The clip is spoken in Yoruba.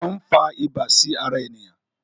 Efòn n fà ibà sí ará eniyan